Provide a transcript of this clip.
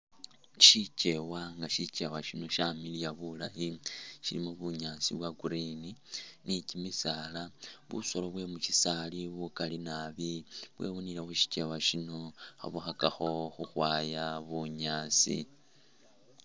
Syikeewa nga syikeewa syino syamiliya bulayi, syilikho bunyaasi bwa green ni kimisaala, busolo bwe mu syisaali bukali nabi bwewunile khu syikeewa syino khabukhakakho khukhwaaya bunyaasi.